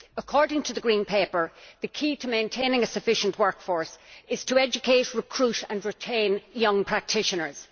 According to the Green Paper, the key to maintaining a sufficient workforce is to educate, recruit and retain young practitioners.